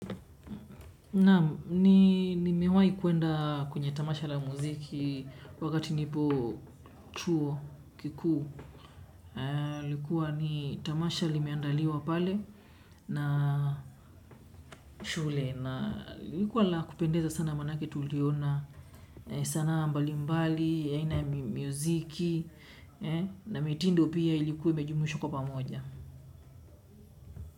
Naam, nimewai kuenda kwenye tamasha la muziki wakati nilipo chuo kikuu. Ilikuwa ni tamasha limeandaliwa pale na shule na ilikuwa la kupendeza sana manake tuliona sanaa mbali mbali aina ya muziki na mitindo pia ilikuwa imejumuishwa kwa pamoja.